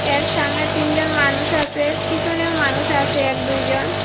এর সামনে তিনজন মানুষ আসে পিসনেও মানুষ আসে এক দুইজন।